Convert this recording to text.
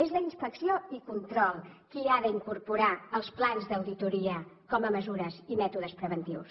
és la inspecció i control qui ha d’incorporar els plans d’auditoria com a mesures i mètodes preventius